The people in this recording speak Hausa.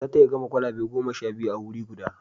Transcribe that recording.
Za ta iya gama kwalabe goma sha biyu a wuri guda